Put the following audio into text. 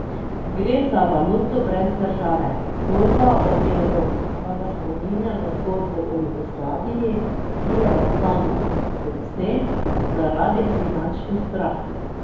Gre za valuto brez države, zgodba o evru pa ga spominja na zgodbo o Jugoslaviji, ki je razpadla predvsem zaradi finančnih zdrah.